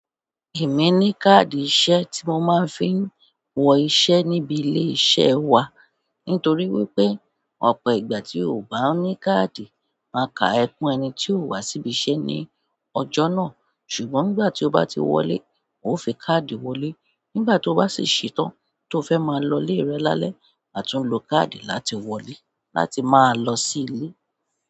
Èmi ní káàdì iṣẹ́ tí mo máa ń fi ń wọ iṣẹ́ níbi ilé iṣẹ́ wa. Nítorí wípé ọ̀pọ̀ ìgbà tí o ò bá ní káàdì máa ka ẹkún ẹni tí o wá síbi iṣẹ́ ní ọjọ́ náà. Ṣùgbọ́n nígbà tí o bá ti wọlé, o fi káàdì wọlé. Nígbà tí o bá sì ṣetán, tí o fẹ́ máa lọ lé rẹ lálẹ́, àtún lo káàdì láti wọlé láti máa lọ sí ilé.